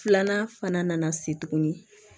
Filanan fana nana se tuguni